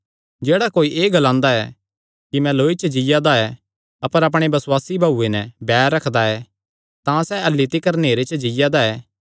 जेह्ड़ा कोई एह़ ग्लांदा ऐ कि मैं लौई च जीआ दा ऐ अपर अपणे बसुआसी भाऊये नैं बैर रखदा ऐ तां सैह़ अह्ल्ली तिकर नेहरे च जीआ दा ऐ